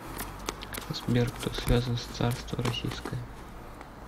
сбер кто связан с царство российское